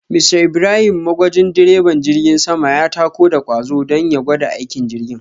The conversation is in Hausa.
Mr Ibrahim magwajin direban jirgin sama ya tako da kwazo don ya gwada aikin jirgin